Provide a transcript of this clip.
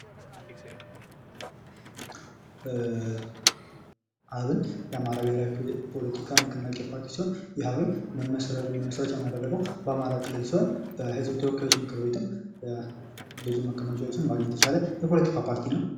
አብን፡-የአማራ ብሄራዊ ፖለቲካ ንቅናቄ ፖርቲ ሲሆን ይህ አብን መመስረቻውን ያደረገው በአማራ ክልል ሲሆን በህዝብ ተወካዮች ምክር ቤትም ብዙ መቀመጫዎችን ማግኘት የቻለ የፖለቲካ ፓርቲ ነው።